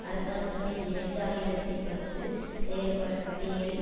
அரசாங்கத்தின் இரண்டு ஆயிரத்தி பத்து செயற்பட்டியல்